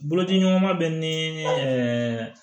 Bolodiɲɔgɔnma bɛ ni